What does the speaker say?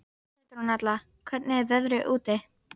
Petronella, hvernig er veðrið úti?